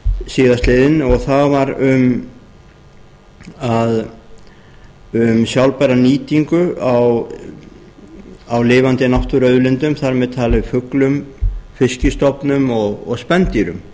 síðastliðinn og það var um sjálfbæra nýtingu á lifandi náttúruauðlindum þar með talið fuglum fiskistofnum og spendýrum